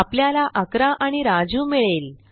आपल्याला 11 आणि राजू मिळेल